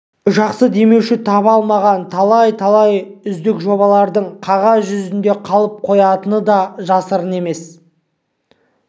жақсы демеуші таба алмаған талай-талай үздік жобалардың қағаз жүзінде қалып қоятыны да жасырын емес